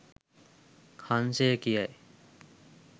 හංසය කියයි.